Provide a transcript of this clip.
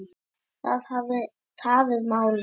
Það hafi tafið málið.